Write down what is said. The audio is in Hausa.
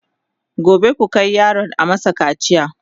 gobe ku Kai yaron a masa kacia!